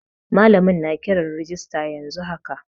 Malamin na kiran rijista yanzu haka.